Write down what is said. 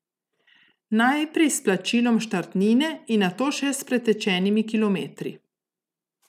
Najprej s plačilom štartnine in nato še s pretečenimi kilometri.